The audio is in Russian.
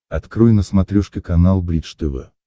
открой на смотрешке канал бридж тв